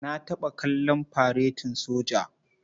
Na taɓa kallon faretin soja.